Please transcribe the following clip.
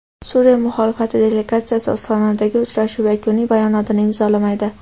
Suriya muxolifati delegatsiyasi Ostonadagi uchrashuv yakuniy bayonotini imzolamaydi.